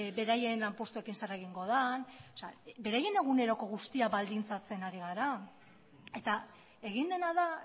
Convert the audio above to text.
beraien lanpostuekin zer egingo den beraien eguneroko guztia baldintzatzen ari gara eta egin dena da